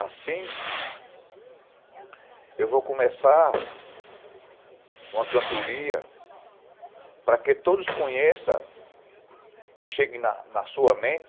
Assim, eu vou começar uma cantoria para que todos conheçam e cheguem à sua mente